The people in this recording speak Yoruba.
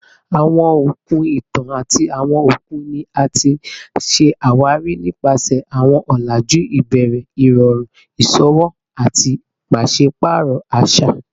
Awọn okun itan ati awọn okun ni a ti ṣawari nipasẹ awọn ọlaju ibẹrẹ, irọrun iṣowo ati paṣipaarọ aṣa